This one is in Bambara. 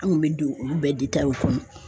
An kun bɛ don olu bɛɛ kɔnɔ.